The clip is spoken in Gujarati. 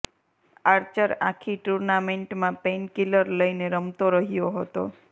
આર્ચર આખી ટૂર્નામેન્ટમાં પેઇન કિલર લઇને રમતો રહ્યો હતો